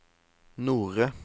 Nore